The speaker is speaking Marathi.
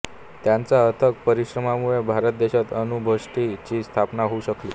त्यांच्या अथक परिश्रमांमुळेच भारत देशात अणु भट्टी ची स्थापना होऊ शकली